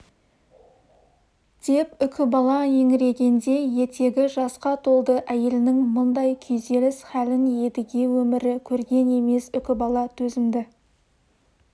деп үкібала еңірегенде етегі жасқа толды әйелінің мұндай күйзеліс хәлін едіге өмірі көрген емес үкібала төзімді